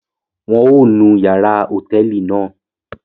Wọn o nu yàrá hotẹẹli náà